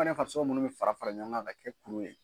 Fɛnɛ farisogo munnu bɛ fara ɲɔgɔn kan ka kɛ kuru ye.